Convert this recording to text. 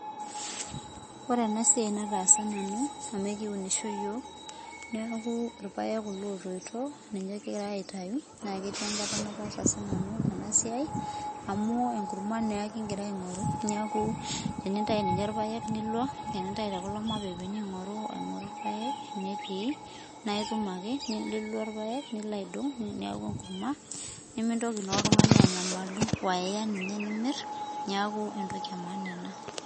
Ore ena siai natasaka nanu amu ekiwunisho iyiok neeku irpaek kulo otoito ninche egirai aitau naa ketii naa kaikashie sinanu ena siai amu enkurna naa kigira aing'oru neeku tenintayu ninye irpaek nilo tekulo mapepeni aing'oru irpaek netii naa etum ake irpaek nilo aidong neeku enkurma nimintoki naa oltung'ani anyamalu oo eyaaa naa nimir neeku entoki emaana ena